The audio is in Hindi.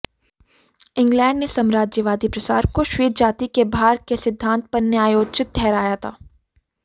इंग्लैण्ड ने साम्राज्यवादी प्रसार को श्वेत जाति के भार के सिद्धान्त पर न्यायोचित ठहराया था